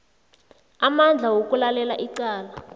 amandla wokulalela icala